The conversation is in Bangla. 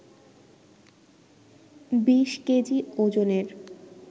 ২০ কেজি ওজনের